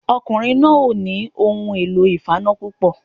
Ọkùnrin náà ò nì ohun èlò ìfaná púpọ̀